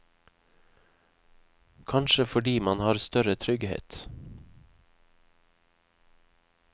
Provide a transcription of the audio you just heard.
Kanskje fordi man har større trygghet.